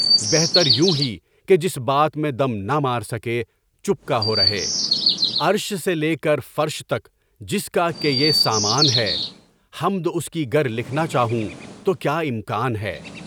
بہتریوں ہی کے جس بات میں دم نہ مار سکے، چپکا ہو رہے، عرش سے لے کر فرش تک جس کا کے یہ سامان ہے، اس کی گر لکھنا چاہوں تو کیا امکان ہے!